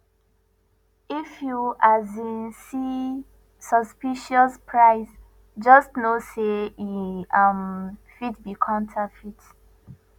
if you um see suspicious price just know say e um fit be counterfeit